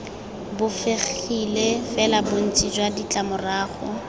bofegile fela bontsi jwa ditlamorago